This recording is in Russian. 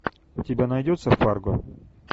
у тебя найдется фарго